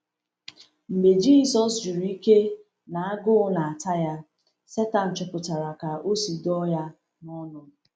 Mgbe Jisọs juru ike na agụụ na-ata ya, Sátan chọpụtara ka o si dọ ya n’ọnụ.